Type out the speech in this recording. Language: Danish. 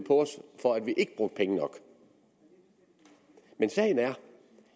for ikke at bruge penge nok men sagen er at